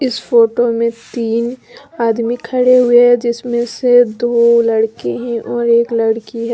इस फोटो में तीन आदमी खड़े हुए हैं जिसमें से दो लड़के हैं और एक लड़की है।